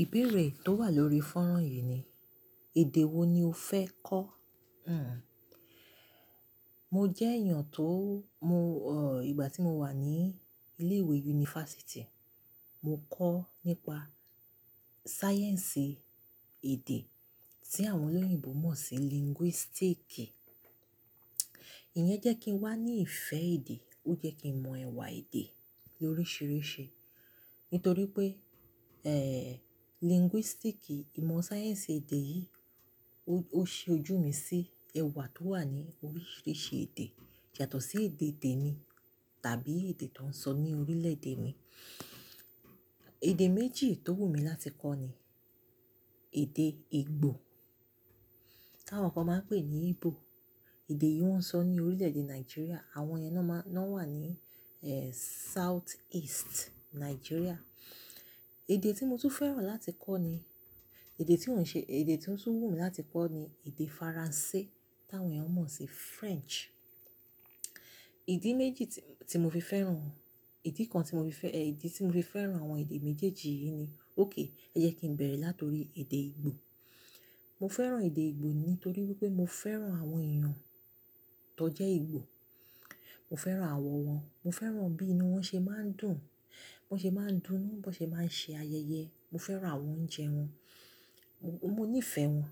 Ìbéèrè tó wà lórí fọ́nrán yìí ni, èdè wo ni o fẹ́ kọ́? Hhm. Mo jẹ́ èèyàn tó mò, ìgbà tí mo wà ní ilé ìwé yunifásítì, mo kọ́ nípa sáyẹ̀nsì èdè, tí àwọn olóyìnbo mọ̀ sí linguistic. Ìyẹn jẹ́ kí ń wá ní ìfẹ́ èdè, ó jẹ́ kí n mọ ẹ̀wà èdè loríṣìíríṣìí. Nítorí pé, eh, linguistic, ìmọ̀ sáyẹ̀nsì èdè yìí, ó, ó ṣi ojú mi sí ẹ̀wà tó wà ní oríṣìíríṣìí èdè. Yàtọ̀ sí èdè temi tàbí èdè tó ń sọ ní orílẹ̀-èdè mi. Èdè méjì tó wù mí láti kọ́ ni èdè Ìgbò, tí àwọn kan máa ń pè ní Igbo. Èdè yìí wọ́n ń sọ ní orílẹ̀-èdè Nàìjíríà, àwọn yẹn ná má-- ná wà ní, eh, South East Nàìjíríà. Èdè tí mo tú fẹ́ràn láti kọ́ ni-- èdè tí mò ń ṣe-- èdè tí ó tún wù mí láti kọ́ ni èdè Faransé, tí àwọn èèyàn mọ̀ sí French. Ìdí méjì tí, tí mo fi fẹ́ràn-- ìdí kan tí mo fi fẹ́-- eh, ìdí tí mo fi fẹ́ràn àwọn èdè méjèèjì yìí ni, óké, ẹ jẹ́ kí n bẹ̀rẹ̀ láti orí èdè Ìgbò. Mo fẹ́ràn èdè Ìgbò nítorí wípé mo fẹ́ràn àwọn èèyàn tó jẹ́ Ìgbò. Mo fẹ́ràn àwọ̀ wọn, mo fẹ́ràn bí i inu wọ́n ṣe máa ń dùn, bí wọ́n ṣe máa ń dùn nínú, bí wọ́n ṣe máa ń ṣe ayẹyẹ. Mo fẹ́ràn àwọn oúnjẹ wọn, mo, mo níìfẹ̀ wọn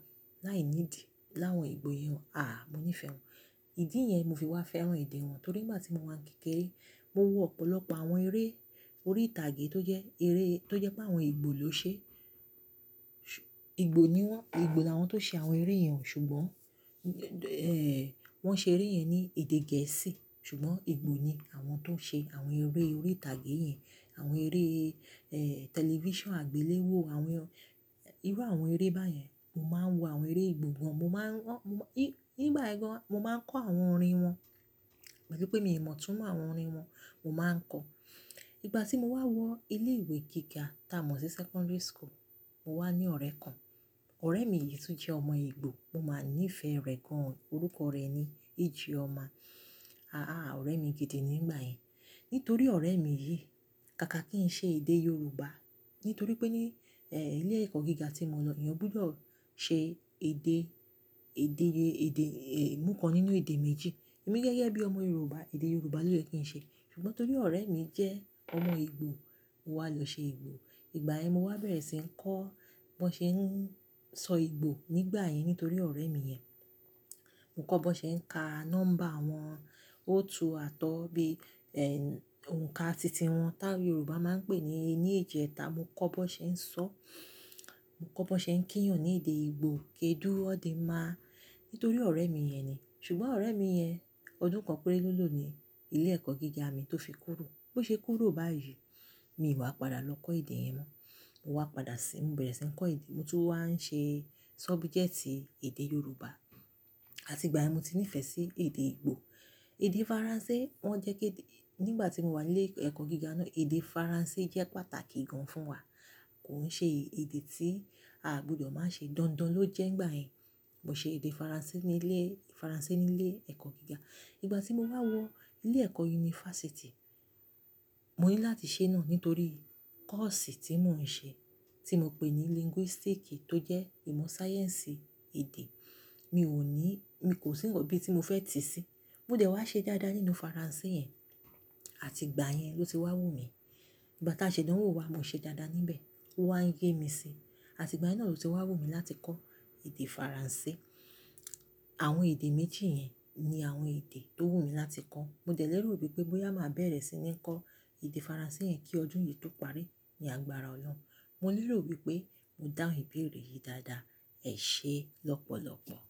láìníìdí láwọn Ìgbò yẹn. Àhà, mo níìfẹ̀ wọn. Ìdí yẹn mo fi wá fẹ́ràn èdè wọn torí ìgbà tí mo wà ní kékeré, mo wọ ọ̀pọ̀lọpọ̀ àwọn eré orí ìtàgé tó jẹ́ eré, tó jẹ́ pé àwọn Ìgbò ló ṣe. Ìgbò ni wọ́n, Ìgbò làwọn tó ṣe àwọn eré yẹn, ṣùgbọ́n, eh, wọ́n ṣe eré yẹn ní èdè gẹ̀ẹ́sì, ṣùgbọ́n Ìgbò ni àwọn tó ń ṣe àwọn eré orí ìtàgé yẹn, àwọn eré, eh, tẹlifíṣàn àgbéléwò, àwọn, irú àwọn eré báyẹn. Mo máa ń wo àwọn eré Ìgbò gan. Mo máa ń wọ́n, mo má-- ní, nígbà ọ-- mo máa ń kọ́ àwọn orin wọn. Pẹ̀lú pé mi ò mọ̀ túmọ̀ àwọn orin wọn, mo máa ń kọ. Ìgbà tí mo wá wọ ilé ìwé gíga, tá a mọ̀ sí secondary school, mo wá ní ọ̀rẹ́ kan. Ọ̀rẹ́ mi yìí tún jẹ́ ọmọ Ìgbò, mo máa níìfẹ̀ rẹ̀ gan-an. Orúkọ rẹ̀ ni Ijeoma. Àhà, ọ̀rẹ́ mi gidi ni nígbà yẹn. Nítorí ọ̀rẹ́ mi yìí, káàkà kí n ṣe èdè Yorùbá. Nítorí pé ní, eh, ilé ẹ̀kọ́ gíga tí mo lọ, èèyàn gbúdọ̀ ṣe èdè, èdè, èdè, eh, mú kan nínú èdè méjì. Ẹ̀mi gẹ́gẹ́ bí ọmọ Yorùbá, èdè Yorùbá ló yẹ kí n ṣe. Ṣùgbọ́n torí ọ̀rẹ́ mi jẹ́ ọmọ Ìgbò, mo wá lọ ṣe Ìgbò. Ìgbà yẹn mo wá bẹ̀rẹ̀ sí ń kọ́ bí wọ́n ṣe ń sọ Ìgbò nígbà yẹn nítorí ọ̀rẹ́ mi yẹn. Mo kọ́ bí wọ́n ṣe ń ka nọ́mbà wọn, o, tú, àtọ́, bí, eh, òǹkà titi wọn tá Yorùbá máa ń pè ní, ní èjẹta. Mo kọ́ bí wọ́n ṣe ń sọ-- mo kọ́ bí wọ́n ṣe ń kíyàn ní èdè Ìgbò, "kedụ ọ̀dị́nma?" Nítorí ọ̀rẹ́ mi yẹn ni. Ṣùgbọ́n ọ̀rẹ́ mi yẹn, ọdún kan péré lọ́lọ́ ni ilé ẹ̀kọ́ gíga mi tó fi kúrò. Bí ó ṣe kúrò báyìí, mi ò wá padà lọ kọ́ èdè yẹn mọ́. Mo wá padà sí i, mo bẹ̀rẹ̀ sí ń kọ́ èdè, mo tún wá ń ṣe sọ́bùjẹ́tì èdè Yorùbá. Àti ìgbà yẹn ni mo ti níìfẹ̀ sí èdè Ìgbò. Èdè Faransé, wọ́n jẹ́ kí dé-- nígbà tí mo wà ní ilé ẹ̀kọ́ gíga náà, èdè Faransé jẹ́ pàtàkì gan fún wa. Kò ń ṣe èdè tí a gbúdọ̀ máa ṣe, dandan ló jẹ́ nígbà yẹn. Mo ṣe èdè Faransé ní ilé, Faransé ní ilé ẹ̀kọ́ gíga. Ìgbà tí mo wá wọ ilé ẹ̀kọ́ yunifásítì, mo ní láti ṣe náà nítorí kọ́ọ̀sì tí mò ń ṣe, tí mo pè ní linguistic tó jẹ́ ìmọ̀ sáyẹ́nsì èdè. Mi ò ní-- mi kò sì rò bí tí mo fẹ́ tì í sí. Mo dẹ̀ wá ṣe daáda nínú Faransé yẹn, àti ìgbà yẹn ló ti wá wù mí. Ìgbà tá a ṣẹ̀dánwò wa, mo ṣe daáda níbẹ̀, ó wá ń yé mi sí i, àti ìgbà yẹn náà ló ti wá wù mí láti kọ́ èdè Faransé. Àwọn èdè méjì yẹn ni àwọn èdè tó wù mí láti kọ́. Mo dẹ̀ lérò wípé bóyá màá bẹ̀rẹ̀ sí ní kọ́ èdè Faransé yẹn kí ọdún yìí tó parí, ní àgbàrá ọlọ́run. Mo lérò wípé mo dáhùn ìbéèrè yìí dáadáa. Ẹ ṣe lọ́pọ̀lọpọ̀.